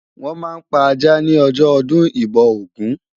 Wòn ma n pá àjá ni òjò òdùn ibò ógùn